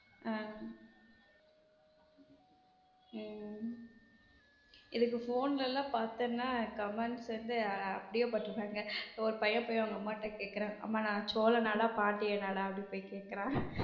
ஹம் உம் இதுக்கு phone லாம் பத்துனா comments வந்து அப்படியே போட்டு இருப்பாங்க ஒரு பையன் போய் அவங்க அம்மா கிட்ட கேட்கிறான் அம்மா நான் சோழ நாடா, பாண்டிய நாடா அப்படின்னு போய் கேட்கிறான்.